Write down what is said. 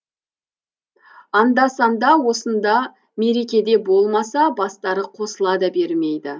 анда санда осында мерекеде болмаса бастары қосыла да бермейді